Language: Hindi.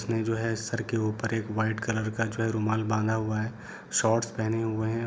उसने जो है सर के ऊपर पर वाइट कलर का रुमाल है जो बांधा हुआ है और शॉर्ट्स पहने हुए है।